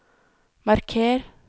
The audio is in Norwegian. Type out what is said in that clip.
marker